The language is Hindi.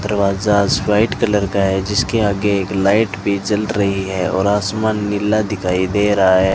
दरवाजाज व्हाइट कलर का है जिसके आगे एक लाइट भी जल रही है और आसमान नीला दिखाई दे रहा है।